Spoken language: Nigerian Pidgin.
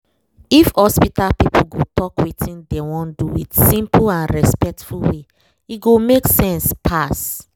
if hospital people go talk wetin dem wan do with simple and respectful way e go make sense pass